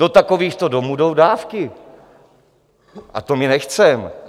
Do takovýchto domů jdou dávky, a to my nechceme.